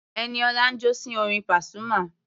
Ẹniọlá ń jó sí orin Pasuma.